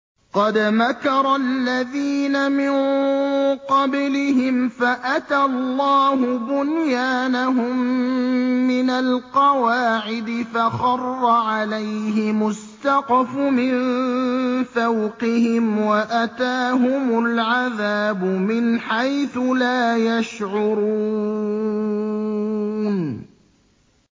قَدْ مَكَرَ الَّذِينَ مِن قَبْلِهِمْ فَأَتَى اللَّهُ بُنْيَانَهُم مِّنَ الْقَوَاعِدِ فَخَرَّ عَلَيْهِمُ السَّقْفُ مِن فَوْقِهِمْ وَأَتَاهُمُ الْعَذَابُ مِنْ حَيْثُ لَا يَشْعُرُونَ